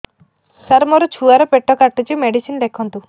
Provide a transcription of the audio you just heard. ସାର ମୋର ଛୁଆ ର ପେଟ କାଟୁଚି ମେଡିସିନ ଲେଖନ୍ତୁ